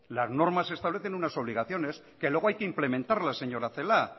las normas establecen unas obligaciones que luego hay que implementarlas señora celaá